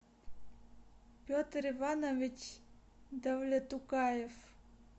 петр иванович давлетукаев